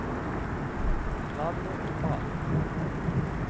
Nanny Malm